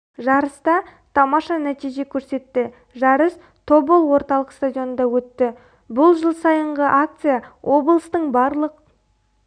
жарыста тамаша нәтиже көрсетті жарыс тобол орталық стадионында өтті бұл жыл сайынғы акция облыстың барлық